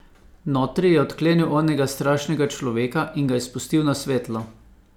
Notri je odklenil onega strašnega človeka in ga izpustil na svetlo.